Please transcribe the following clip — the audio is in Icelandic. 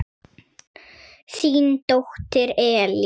Þín dóttir, Elín.